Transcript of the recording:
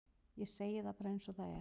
ég segi það bara eins og er